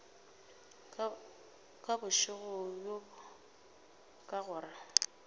ka bošego bjo ka gore